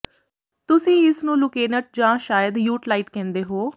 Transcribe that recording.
ਤੁਸੀਂ ਇਸ ਨੂੰ ਲੁਕੇਨਟ ਜਾਂ ਸ਼ਾਇਦ ਯੂਟਲਾਈਟ ਕਹਿੰਦੇ ਹੋ